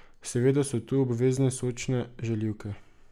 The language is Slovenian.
Seveda so tu obvezne sočne žaljivke.